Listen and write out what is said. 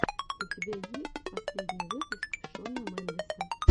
у тебя есть последний выпуск шона мендеса